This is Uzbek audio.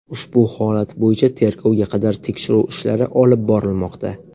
Ushbu holat bo‘yicha tergovga qadar tekshiruv ishlari olib borilmoqda.